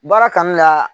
Baara kanu ka